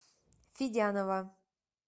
федянова